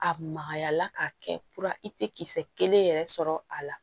A magaya la k'a kɛ i tɛ kisɛ kelen yɛrɛ sɔrɔ a la